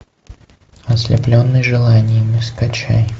ослепленный желаниями скачай